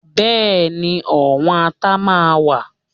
Bẹ́ẹ̀ni, ọ̀wọ́n Ata máa wà